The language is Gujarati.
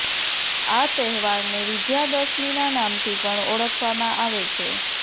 આ તહેવારને વિજ્યા દશમીના નામથી પણ ઓળખવામાં આવે છે